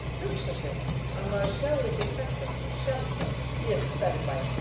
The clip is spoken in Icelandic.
Hugsa sér að maður sjái ykkur krakkana svona sjaldan í ekki stærri bæ.